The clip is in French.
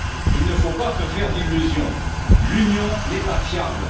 Il ne faut pas se faire d'illusions, l'Union n'est pas fiable.